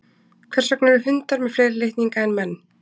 Hvers vegna eru hundar með fleiri litninga en menn?